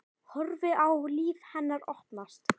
Horfi á líf hennar opnast.